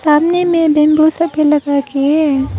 सामने में बेंबू सब भी लगाके है।